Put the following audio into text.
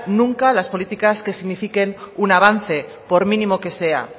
nunca las políticas que signifiquen un avance por mínimo que sea